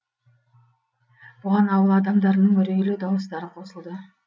бұған ауыл адамдарының үрейлі дауыстары қосылды